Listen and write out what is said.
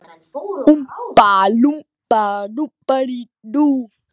Heimir: Eru vaxtalækkanir í boði í þessu tilboði?